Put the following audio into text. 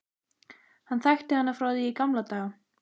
Hann þekkti hana frá því í gamla daga.